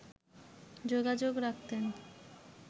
যোগাযোগ রাখতেন